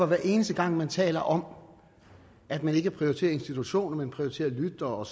hver eneste gang man taler om at man ikke prioriterer institutionen men prioriterer lyttere og